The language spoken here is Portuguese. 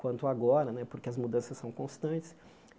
quanto agora né, porque as mudanças são constantes.